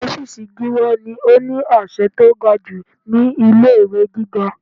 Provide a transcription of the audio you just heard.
Ọ́fìsì Gíwá ni ó ní àṣẹ tó ga jù ní ilé ìwé gíga.